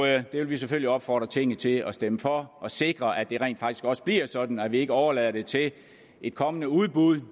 det vil vi selvfølgelig opfordre tinget til at stemme for og sikre at det rent faktisk også bliver sådan at man ikke overlader det til et kommende udbud